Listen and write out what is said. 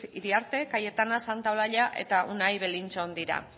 iriarte cayetana santa olalla eta unai belinchón dira